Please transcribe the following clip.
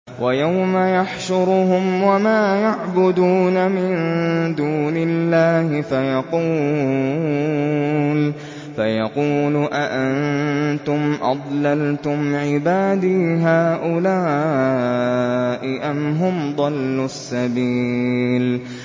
وَيَوْمَ يَحْشُرُهُمْ وَمَا يَعْبُدُونَ مِن دُونِ اللَّهِ فَيَقُولُ أَأَنتُمْ أَضْلَلْتُمْ عِبَادِي هَٰؤُلَاءِ أَمْ هُمْ ضَلُّوا السَّبِيلَ